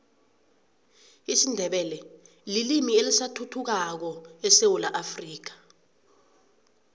isindebele lilimi elisathuthukako esewula afrika